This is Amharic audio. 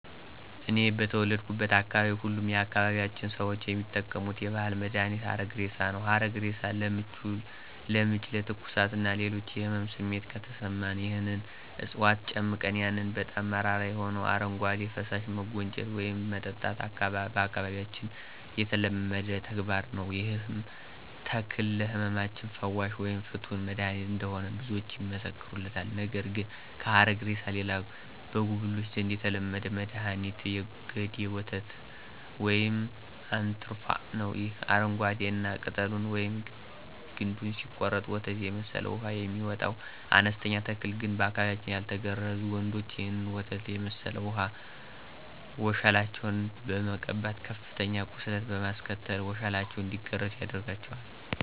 እኔ በተወለድኩበት አካባቢ ሁሉም የአካባቢያችን ሰዎች የሚጠቀሙት የባህል መድሀኒት ሀረግሬሳ ነው። ሀረግሬሳ ለምች፣ ለትኩሳት እና ሌሎች የህመም ስሜት ከተሰማን ይህንን ዕጽዋት ጨምቀን ያንን በጣም መራራ የሆነውን አረጓዴ ፈሳሽ መጎንጨት ወይም መጠጣት በአካባቢያችን የተለመደ ተግባር ነዉ። ይህም ተክል ለህመማችን ፈዋሽ ወይም ፍቱን መድሐኒት እንደሆነ ብዙዎች ይመሰክሩለታል። ነገር ግን ከሀረግሬሳ ሌላ በጉብሎች ዘንድ የተለመደ መድኋኒት የገዴ ወተት ወይም አንትርፋ ነው። ይህ አረንጓዴ እና ቅጠሉን ወይም ግንዱን ሲቆረጥ ወተት የመሰለ ውሃ የሚወጣው አነስተኛ ተክል ግን በአካባቢያችን ያልተገረዙ ወንዶች ይህንን ወተት የመሠለ ውሃ ወሸላቸውን በመቀባት ከፍተኛ ቁስለት በማስከተል ወሸላቸው እንዲገረዝ ያደርጋቸዋል።